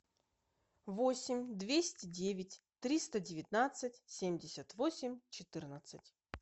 восемь двести девять триста девятнадцать семьдесят восемь четырнадцать